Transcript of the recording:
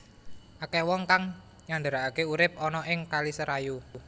Akèh wong kang nyandaraké urip ana ing kali Serayu